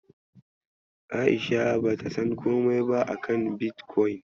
A'isha bata san komai ba akan bitkwaun.